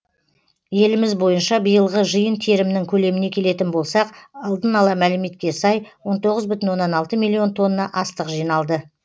еліміз бойынша биылғы жиын терімнің көлеміне келетін болсақ алдын ала мәліметке сай он тоғыз бүтін оннан алты миллион тонна астық жиналды